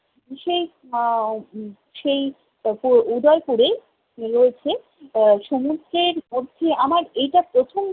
সেই আহ সেই পুর উদয়পুরেই রয়েছে আহ সমুদ্রের মধ্যে, আমার এইটা প্রথম